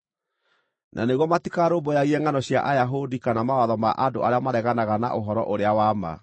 na nĩguo matikarũmbũyagie ngʼano cia Ayahudi kana mawatho ma andũ arĩa mareganaga na ũhoro-ũrĩa-wa-ma.